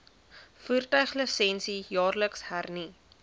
voertuiglisensie jaarliks hernu